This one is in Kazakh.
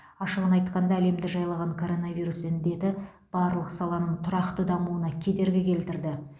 ашығын айтқанда әлемді жайлаған коронавирус індеті барлық саланың тұрақты дамуына кедергі келтірді